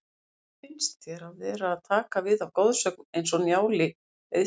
Hvernig finnst þér að vera að taka við af goðsögn eins og Njáli Eiðssyni?